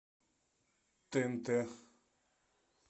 тнт